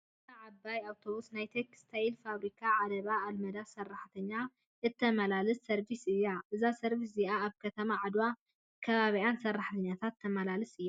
እዛ ዓባይ ኣብቶብስ ናይ ተክስታይል ፋብሪካ ኣለባ ኣልመዳ ሰራሕተኛ እተማላልስ ሰርቪስ እያ። እዛ ሰርቪስ እዚኣ ካብ ከተማ ዓድዋን ከባቢኣን ሰራሕተኛ ተመላልስ እያ።